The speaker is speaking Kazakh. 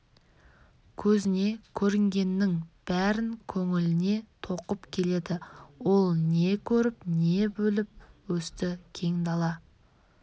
көзіне көрінгеннің бәрін көңіліне тоқып келеді ол не көріп не біліп өсті кең дала